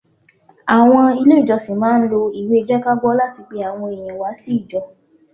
Àwọn Ilé ìjọsìn máà ń lo ìwé jẹ́kágbọ́ láti pe àwọn èèyàn wá sí ijọ́